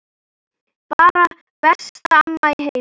Bara besta amma í heimi.